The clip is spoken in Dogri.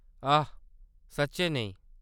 आह्‌‌, सच्चैं नेईं।